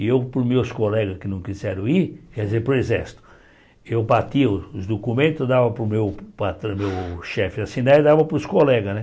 E eu, para os meus colegas que não quiseram ir, quer dizer, para o Exército, eu batia os documentos, dava para o meu patra chefe assinar e dava para os colegas né.